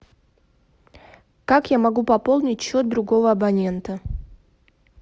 как я могу пополнить счет другого абонента